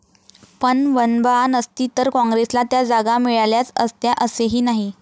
पण वंबआ नसती तर काँग्रेसला त्या जागा मिळाल्याच असत्या असेही नाही.